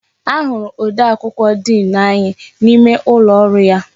Ahụrụ odee akwụkwọ diin anyị n'ime ụlọ ọrụ ya.